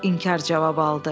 İnkar cavabı aldı.